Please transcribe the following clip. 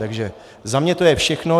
Takže za mě to je všechno.